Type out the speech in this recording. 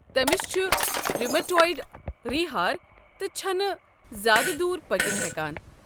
تٔمِس چھُ ریومیٹایڈ رِیہہ ہار تہٕ چھنہٕ نہٕ زیادٕ دوٗر پٔکِتھ ہٮ۪كان۔